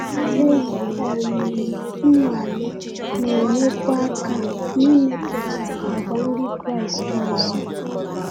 Ihe um nwale na-enyekwa aka n’ịmepụta àgwà ndị Kraịst ọzọ.